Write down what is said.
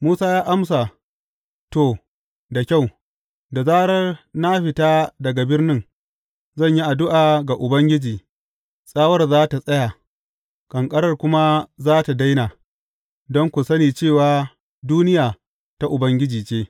Musa ya amsa, To, da kyau, da zarar na fita daga birnin, zan yi addu’a ga Ubangiji, tsawar za tă tsaya, ƙanƙarar kuma za tă daina, don ku sani cewa duniya ta Ubangiji ce.